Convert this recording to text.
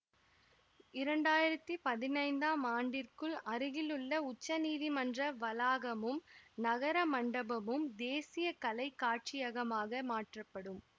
இரண்டாயிரத்தி பதினைந்தாம் ஆண்டிற்குள் அருகிலுள்ள உச்சநீதிமன்ற வளாகமும் நகர மண்டபமும் தேசிய கலை காட்சியகமாக மாற்றப்படும்